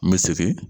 N bɛ segin